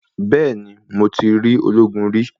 Bẹ́ẹ̀ni, mo ti rí ológun rí.